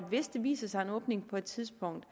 hvis der viser sig en åbning på et tidspunkt